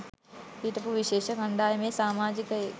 හිටපු විශේෂ කණ්ඩායමේ සාමාජියෙක්.